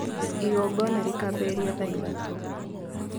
Igongona rĩkambĩrĩria thaa ithatũ.